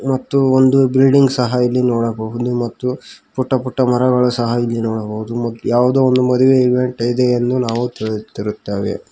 ಮತ್ತು ಒಂದು ಬಿಲ್ಡಿಂಗ್ ಸಹ ಇಲ್ಲಿ ನೋಡಬಹುದು ಮತ್ತು ಪುಟ್ಟ ಪುಟ್ಟ ಮರಗಳು ಎಲ್ಲಿ ಸಹ ನೋಡಬಹುದು ಮತ್ ಯಾವುದೋ ಒಂದ್ ಮದುವೆ ಈವೆಂಟ್ ಇದೆ ಎಂದು ನಾವು ತಿಳಿತಿರುತೇವೆ.